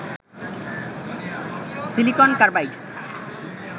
silicon carbide